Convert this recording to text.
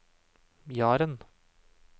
Jaren